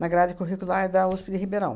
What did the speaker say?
na grade curricular da USP de Ribeirão.